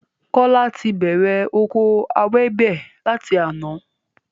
Kola ti bẹ̀rẹ̀ oko ewébẹ̀ lati àná